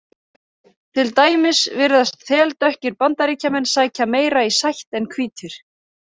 Til dæmis virðast þeldökkir Bandaríkjamenn sækja meira í sætt en hvítir.